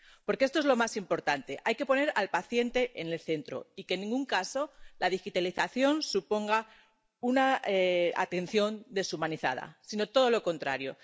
Porque esto es lo más importante hay que poner al paciente en el centro y que, en ningún caso, la digitalización suponga una atención deshumanizada, sino todo lo contrario.